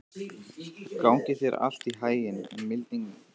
Gangi þér allt í haginn, Mildinberg.